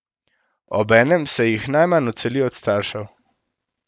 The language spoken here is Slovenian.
Obenem se jih najmanj odseli od staršev.